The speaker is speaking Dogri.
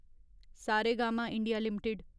Saregama India limited